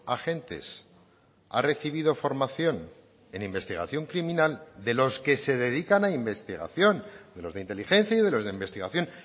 agentes ha recibido formación en investigación criminal de los que se dedican a investigación de los de inteligencia y de los de investigación